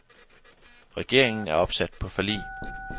Regeringen er opsat på forlig.